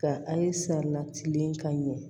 Ka an saniya tile ka ɲɛ